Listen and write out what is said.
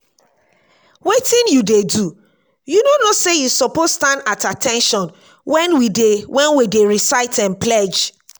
wetin you dey do? you no know say you suppose stand at at ten tion wen we dey wen we dey recite um pledge